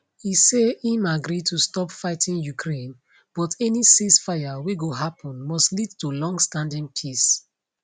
e say im agree to stop fighting ukraine but any ceasefire wey go happun must lead to longstanding peace